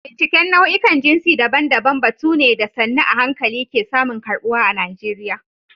Binciken nau'ikan jinsi daban-daban batu ne da sannu a hankali ke samun karɓuwa a Najeriya.